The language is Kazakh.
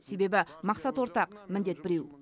себебі мақсат ортақ міндет біреу